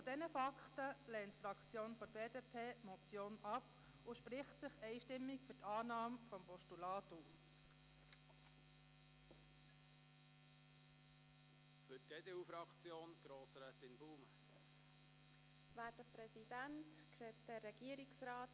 Aufgrund dieser Fakten lehnt die Fraktion der BDP die Motion ab und spricht sich einstimmig für die Annahme des Postulats aus.